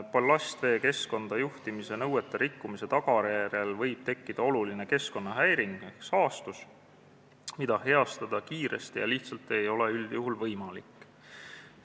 Ballastvee keskkonda juhtimise nõuete rikkumise tagajärjel võib tekkida oluline keskkonnahäiring ehk saastatus, mida kiiresti ja lihtsalt heastada ei ole üldjuhul võimalik.